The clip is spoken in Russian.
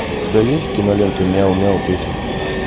у тебя есть кинолента мяу мяу песенки